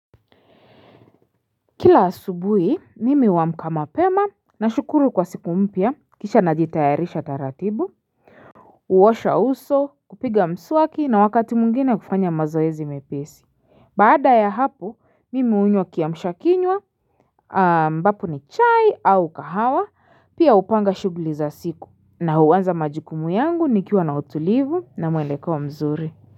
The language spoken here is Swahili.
Kila asubuhi mimi huamka mapema nashukuru kwa siku mpya kisha najitayarisha taratibu Uosha uso kupiga mswaki na wakati mungina kufanya mazoezi mepesi baada ya hapo mimi unywa kiamshakinywa ambapo ni chai au kahawa pia upanga shughuli za siku na huanza majukumu yangu nikiwa na utulivu na mwelekeo mzuri.